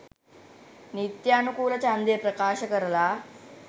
නිත්‍යානුකුලව ජන්දය ප්‍රකාශ කරලා.